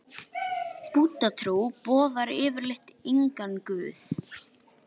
Búddatrú boðar yfirleitt engan guð.